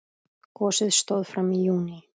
Gosið stóð fram í júní.